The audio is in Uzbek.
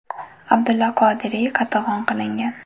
Abdulla Qodiriy qatag‘on qilingan.